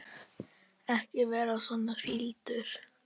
Ekki vera svona fýldur.